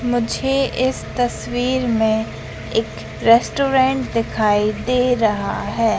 मुझे इस तस्वीर में एक रेस्टोरेंट दिखाई दे रहा है।